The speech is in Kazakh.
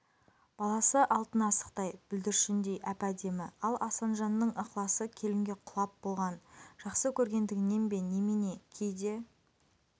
баласы алтын асықтай бүлдіршіндей әп-әдемі ал асанжанның ықыласы келінге құлап болған жақсы көргендігінен бе немене кейде